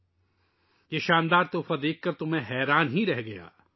میں یہ شاندار تحفہ دیکھ کر حیران رہ گیا